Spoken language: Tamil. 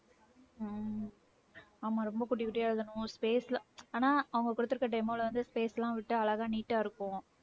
உம் ஆமா ரொம்ப குட்டி குட்டியா எழுதணும் space ல ஆனா அவங்க கொடுத்திருக்கிற demo ல வந்து space எல்லாம் விட்டா அழகா neat ஆ இருக்கும்.